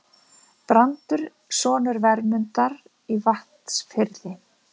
Brandur sonur Vermundar í Vatnsfirði.